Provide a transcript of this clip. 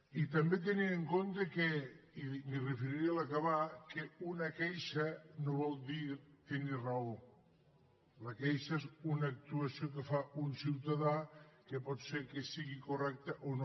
i també tenint en compte i m’hi referiré a l’acabar que una queixa no vol dir tenir raó la queixa és una actuació que fa un ciutadà que pot ser que sigui correcta o no